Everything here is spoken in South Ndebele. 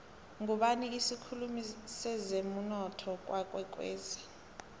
ngubani isikhulumi sezemunotho kwakwekwezi